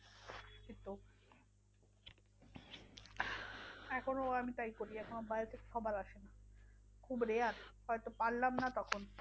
এখনও ওরম টাই করি এখনও বাইরে থেকে খাবার আসে খুব rare হয়তো পারলাম না তখন।